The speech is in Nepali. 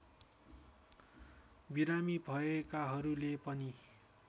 बिरामी भएकाहरूले पनि